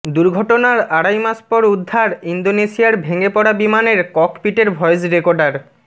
দুর্ঘটনার আড়াই মাস পর উদ্ধার ইন্দোনেশিয়ার ভেঙে পড়া বিমানের ককপিটের ভয়েস রেকর্ডার